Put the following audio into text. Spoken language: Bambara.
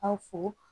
A fo